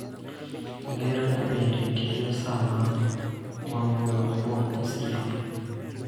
Ngero ni bende tiyo sama wawuoyo kuom osiep.